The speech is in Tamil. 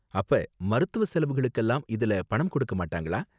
அப்ப, மருத்துவ செலவுகளுக்கெல்லாம் இதுல பணம் கொடுக்க மாட்டாங்களா?